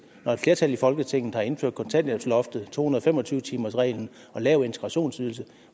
når et flertal i folketinget har indført kontanthjælpsloftet to hundrede og fem og tyve timersreglen og lav integrationsydelse